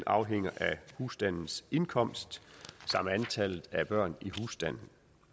afhænger af husstandens indkomst samt antallet af børn i husstanden